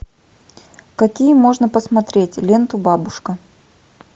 какие можно посмотреть ленту бабушка